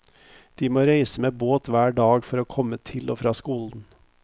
De må reise med båt hver dag for å komme til og fra skolen.